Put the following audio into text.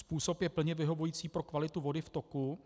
Způsob je plně vyhovující pro kvalitu vody v toku,